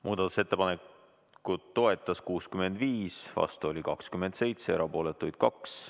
Muudatusettepanekut toetas 65 Riigikogu liiget, vastu oli 27, erapooletuid 2.